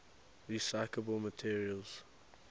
recyclable materials